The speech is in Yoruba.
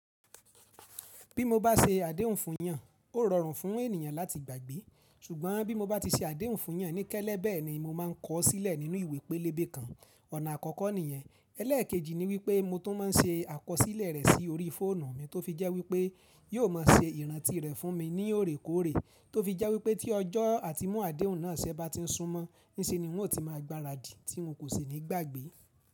Bí mo bá se àdéhùn fún èèyàn, ó rọrùn fún ènìyàn láti gbàgbé. Ṣùgbọ́n bí mo bá ti se àdéhùn fún èèyàn ní kẹ́lẹ́bẹ̀ ni mo má a ń kọ̀ ọ́ sílẹ̀ nínú ìwé pélébé kan. Ọ̀nà àkọ́kọ́ nìyẹn. Ẹlẹ́ẹ̀kejì ni wípé mo tún máa ń se àkọsílẹ̀ rẹ̀ sí orí fóònù mi tó fi jẹ́ wípé yóò má a se ìrántí rẹ̀ fún mi ní òrékòóre, tó fi jẹ́ wípé tí ọjọ́ àti mu àdéhùn náà ṣẹ́ bá ti ń súnmọ́, níṣe ni wọn yóò ti má a gbaradì tí wọn kò ṣe nígbàgbé.